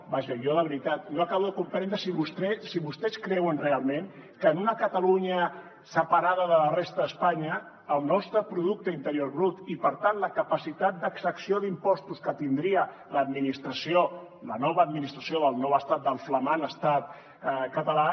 vaja jo de veritat no acabo de comprendre si vostès creuen realment que en una catalunya separada de la resta d’espanya el nostre producte interior brut i per tant la capacitat d’exacció d’impostos que tindria l’administració la nova administració del nou estat del flamant estat català